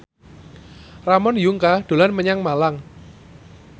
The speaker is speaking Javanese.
Ramon Yungka dolan menyang Malang